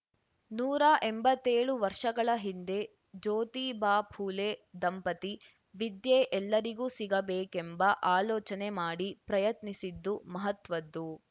ನೂರಾ ಎಂಬತ್ತೇಳು ವರ್ಷಗಳ ಹಿಂದೆ ಜ್ಯೋತಿಬಾಯಿಪುಲೆ ದಂಪತಿ ವಿದ್ಯೆ ಎಲ್ಲರಿಗೂ ಸಿಗಬೇಕೆಂಬ ಆಲೋಚನೆ ಮಾಡಿ ಪ್ರಯತ್ನಿಸಿದ್ದು ಮಹತ್ವದ್ದು